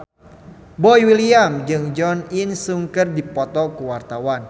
Boy William jeung Jo In Sung keur dipoto ku wartawan